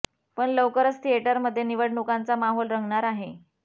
पण लवकरच थिएटर मध्ये निवडणुकांचा माहोल रंगणार आहे